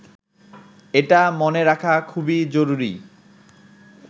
এটা মনে রাখা খুবই জরুরি